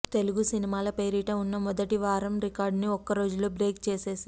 తెలుగు సినిమాల పేరిట వున్న మొదటి వారం రికార్డుని ఒక్క రోజులోనే బ్రేక్ చేసేసింది